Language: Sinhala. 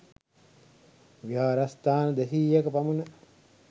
විහාරස්ථාන දෙසීයක පමණ